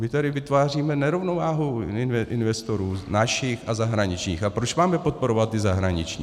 My tady vytváříme nerovnováhu investorů našich a zahraničních, a proč máme podporovat ty zahraniční?